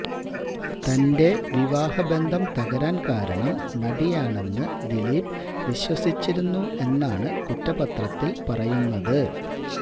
തന്റെ വിവാഹ ബന്ധം തകരാന് കാരണം നടിയാണെന്ന് ദിലീപ് വിശ്വസിച്ചിരുന്നു എന്നാണ് കുറ്റപത്രത്തില് പറയുന്നത്